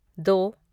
दो